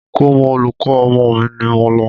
Ikomo olùkọ́ ọmọ mi ni mò ń lọ.